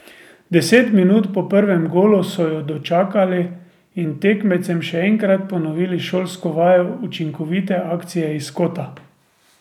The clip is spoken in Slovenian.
Deset minut po prvem golu so jo dočakali in tekmecem še enkrat ponovili šolsko vajo učinkovite akcije iz kota.